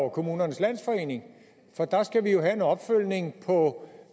og kommunernes landsforening for der skal vi jo have en opfølgning på